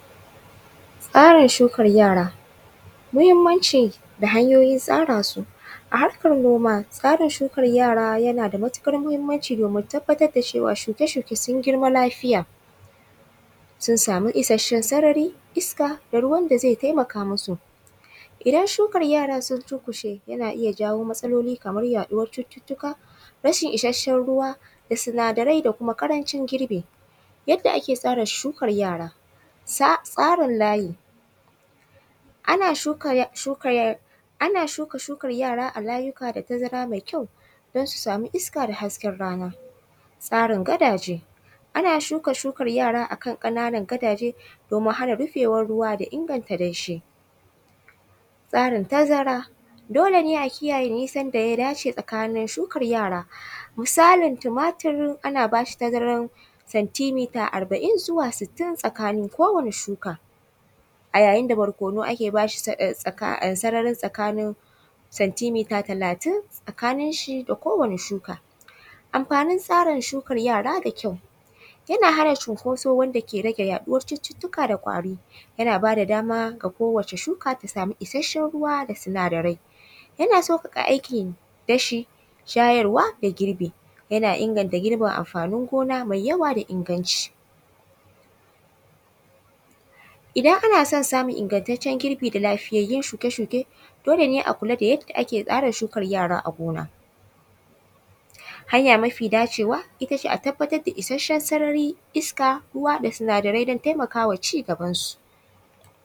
Tsarin shukar yara, muhimmanci da hanyoyin tsara su. A harkar noma, tsarin shukar yaray ana da matuƙar muhimmanci domin tabbatar da cewa shuke-shuke sun girma lafiya, sun samu isasshen sarari, iska da ruwan da zai taimaka musu. Idan shukar yara sun durƙushe, yana iya jawo matsaoli kamar yaɗuwar cututtuka, rashin isasshen ruwa da sinadarai da kuma ƙarancin girbi. Yadda ake tsara shukar yara: tsarin layi:- ana shuka shukar yara a layuka da tazara mai kyau don su samu iska da hasken rana. Tsarin gadaje:- ana shuka shukar yara a kan ƙananan gadaje, domin hana rufewar ruwa da inganta danshi. Tsarin tazara:- dole ne a kiyaye nisan da ya dace tsakanin shukar yara. Misalin tumatur, ana ba shi tazarar centimeter arba’in zuwa sittin tsakanin kowane shuka, a yayin da barkono ake ba shi sararin tsakanin centimeter talatin, tsakaninshi da kowane shuka. Amfanin shukar yara da kyau: yana rage cunkoso wanda ke rage yaɗuwar cututtuka da ƙwari. Yana ba da dama ga kowace shuka ta samu isasshen ruwa da sinadarai. Yana sauƙaƙa aikin dashi, shayarwa da girbi. Yana inganta girbin amfanin gona mai yawa da inganci. Idan ana son samun ingantaccen girbi da lafiyayyun shuke-shuke, dole ne a kula da yadda ake tsara shukar yara a gona. Hanya mafi dacewa, ita ce a tabbatar da isasshen sarari, iska, ruwa da sinadarai do taimaka wa ci gabansu.